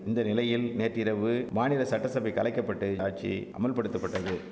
இந்த நிலையில் நேற்றிரவு மாநில சட்டசபை கலைக்கப்பட்டு ஆட்சி அமுல்படுத்தப்பட்டது